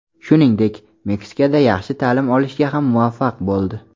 Shuningdek, Meksikada yaxshi ta’lim olishga ham muvaffaq bo‘ldi.